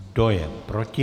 Kdo je proti?